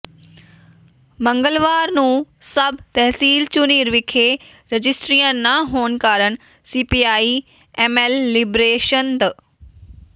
ਮੰਗਲਵਾਰ ਨੂੰ ਸਬ ਤਹਿਸੀਲ ਝੁਨੀਰ ਵਿਖੇ ਰਜਿਸਟਰੀਆਂ ਨਾ ਹੋਣ ਕਾਰਨ ਸੀਪੀਆਈ ਐੱਮਐੱਲ ਲਿਬਰੇਸ਼ਨ ਦ